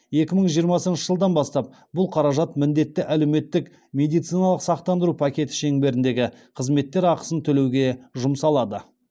екі мың жиырмасыншы жылдан бастап бұл қаражат міндетті әлеуметтік медициналық сақтандыру пакеті шеңберіндегі қызметтер ақысын төлеуге жұмсалады